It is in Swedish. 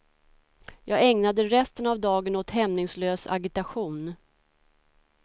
Jag ägnade resten av dagen åt hämningslös agitation.